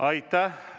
Aitäh!